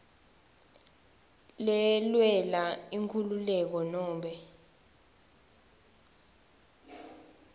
lelwela inkhululeko nobe